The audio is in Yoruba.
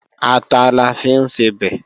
Ata la fi ń sebẹ̀